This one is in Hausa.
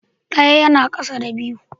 Ɗaya yana ƙasa da biyu.